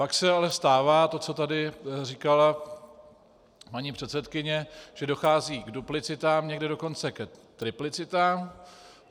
Pak se ale stává to, co tady říkala paní předsedkyně, že dochází k duplicitám, někde dokonce ke triplicitám.